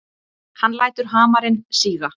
Hann lætur hamarinn síga.